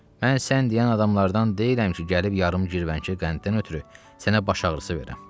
Mən sən deyən adamlardan deyiləm ki, gəlib yarım girvənkə qənddən ötrü sənə baş ağrısı verəm.